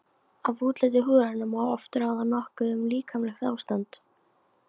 Af útliti húðarinnar má oft ráða nokkuð um líkamlegt ástand.